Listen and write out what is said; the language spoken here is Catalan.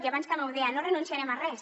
i abans també ho deia no renunciarem a res